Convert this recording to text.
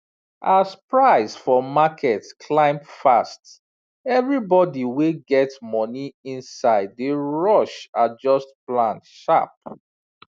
as price for market climb fast everybody wey get money inside dey rush adjust plan sharp